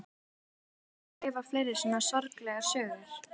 Ætlið þér að skrifa fleiri svona sorglegar sögur?